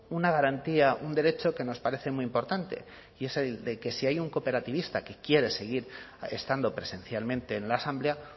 una garantía un derecho que nos parece muy importante y es el de que si hay un cooperativista que quiere seguir estando presencialmente en la asamblea